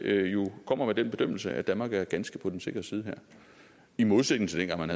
kommer den bedømmelse at danmark er ganske på den sikre side her i modsætning til dengang man